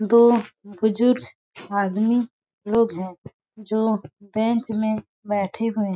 दो बुजुर्ग आदमी लोग है जो बैंक में बैठे हुए --